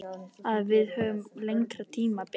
Að við hefðum lengra tímabil.